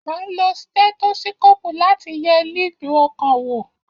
A ń lo stẹ́tósíkòpù láti ye lílù ọkàn wò